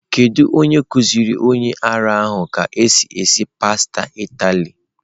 Kedu onye kuziri onye ara ahụ ka esi esi pasta Italy?